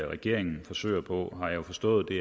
regeringen forsøger på er har jeg forstået